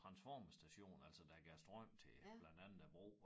Transformerstation altså der gav strøm til blandt andet æ bro